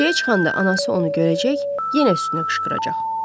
Küçəyə çıxanda anası onu görəcək, yenə üstünə qışqıracaq.